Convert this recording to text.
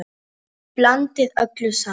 Blandið öllu saman.